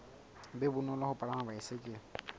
be bonolo ho palama baesekele